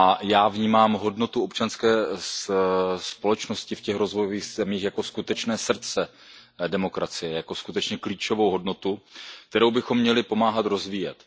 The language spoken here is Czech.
Já vnímám hodnotu občanské společnosti v těch rozvojových zemích jako skutečné srdce demokracie, jako skutečně klíčovou hodnotu, kterou bychom měli pomáhat rozvíjet.